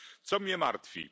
Co mnie martwi?